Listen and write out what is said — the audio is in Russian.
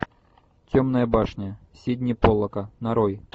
темная башня сидни поллака нарой